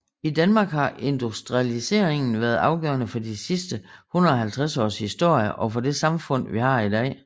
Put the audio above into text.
I Danmark har industrialiseringen været afgørende for de sidste 150 års historie og for det samfund vi har i dag